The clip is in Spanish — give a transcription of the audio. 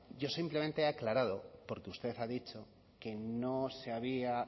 yo simplemente he aclarado porque usted ha dicho que no se había